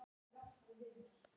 Sumt sé ég á myndum.